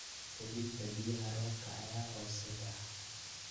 Hubinta biyaha roobka ayaa hooseeya.